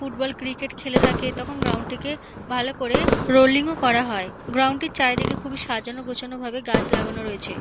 Football cricket খেলে থাকে তখন গ্রাউন্ড টিকে ভালো করে রোলিং ও করা হয় গ্রাউন্ড টির চারিদিকে খুবই সাজানো গোছানোভাবে গাছ লাগানো রয়েছে।